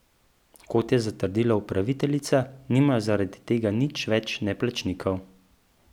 Kot je zatrdila upraviteljica, nimajo zaradi tega nič več neplačnikov.